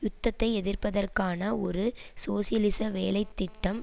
யுத்தத்தை எதிர்ப்பதற்கான ஒரு சோசியலிச வேலை திட்டம்